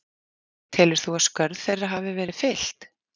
Telur þú að skörð þeirra hafi verið fyllt?